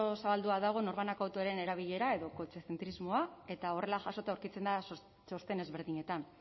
zabaldua dago norbanako autoaren erabilera edo kotxezentrismoa eta horrela jasota aurkitzen da txosten ezberdinetan